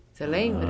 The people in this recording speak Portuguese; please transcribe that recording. Você lembra?